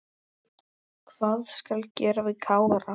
Hvað skal gera við Kára?